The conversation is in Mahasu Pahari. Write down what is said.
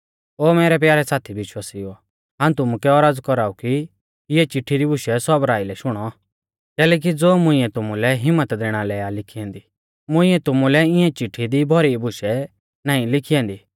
ओ मैरै प्यारै साथी विश्वासिउओ हाऊं तुमुकै औरज़ कौराऊ कि इऐं चिट्ठी री बुशै सौबरा आइलै शुणौ कैलैकि ज़ो मुंइऐ तुमुलै हिम्मत दैणा लै ई लिखी ऐन्दी मुइंऐ तुमुलै इऐं चिट्ठी दी भौरी बुशै नाईं लिखी ऐन्दी